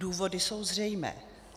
Důvody jsou zřejmé.